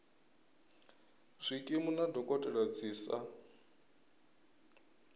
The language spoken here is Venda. zwikimu na dokotela dzi sa